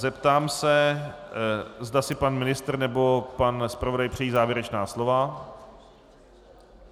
Zeptám se, zda si pan ministr nebo pan zpravodaj přejí závěrečná slova.